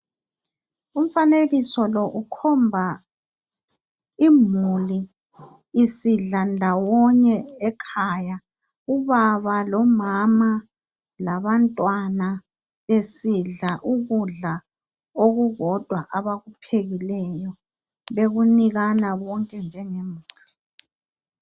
Umfanekiso lo ukhomba imuli isidla ndawonye ekhaya. Ubaba lomama labantwana besidla ukudla okukodwa abakuphekileyo bekunikana bonke njengemuli.